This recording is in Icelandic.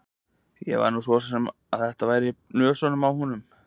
Ég var nú svona að vona að þetta væri bara í nösunum á honum.